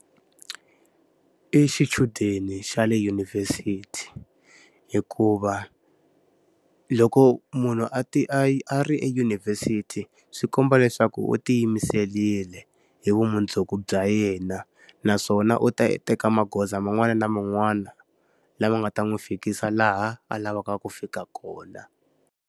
I xichudeni xa le dyunivhesiti. Hikuva, loko munhu a a a ri edyunivhesiti swi komba leswaku u tiyimiserile hi vumundzuku bya yena. Naswona u ta teka magoza man'wani na man'wani lama nga ta n'wi fikisa laha a lavaka ku fika kona.